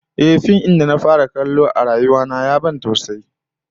Ehh, fim din da na fara kallo a rayuwa ta ya ban tausayi